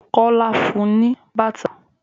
Kola fún un ní bàtà.